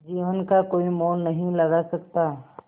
जीवन का कोई मोल नहीं लगा सकता